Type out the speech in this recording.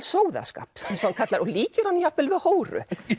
sóðaskap og líkir honum jafnvel við hóru